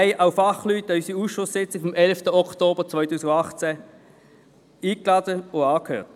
An unsere Ausschusssitzung vom 11. Oktober 2018 hatten wir Fachleute eingeladen und diese angehört.